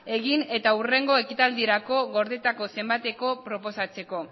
egin eta hurrengo ekitaldirako gordetako zenbateko proposatzeko